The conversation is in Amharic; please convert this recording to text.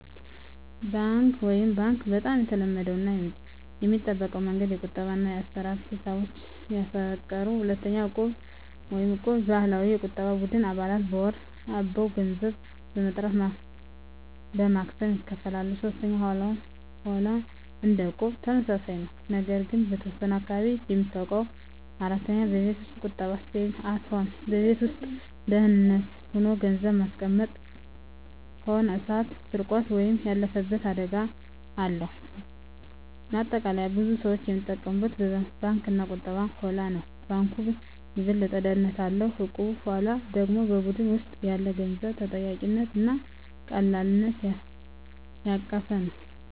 1. ባንክ (Bank) - በጣም የተለመደው እና የሚጠበቀው መንገድ። የቁጠባ እና የአሰራ ሂሳቦችን ያቀፈ። 2. እቁብ (Equb) - የባህላዊ የቁጠባ ቡድን። አባላት በወር አበው ገንዘብ በመጠራት በማክሰሞ ይካፈላሉ። 3. ሆላ (Holla) - እንደ እቁብ ተመሳሳይ ነው፣ ነገር ግን በተወሰነ አካባቢ የሚታወቅ። 4. ቤት ውስጥ ቁጠባ (Saving at Home) - በቤት ውስጥ በደህንነት ሆኖ ገንዘብ ማስቀመጥ። ሆኖ እሳት፣ ስርቆት ወይም ያለፈበት አደጋ አለው። ማጠቃለያ ብዙ ሰዎች የሚጠቀሙት በባንክ እና በእቁብ/ሆላ ነው። ባንኩ የበለጠ ደህንነት አለው፣ እቁቡ/ሆላው ደግሞ በቡድን ውስጥ ያለ የገንዘብ ተጠያቂነት እና ቀላልነት ያቀፈ ነው።